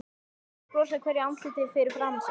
Sér bros á hverju andliti fyrir framan sig.